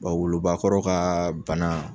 Wa wolobakɔrɔ ka bana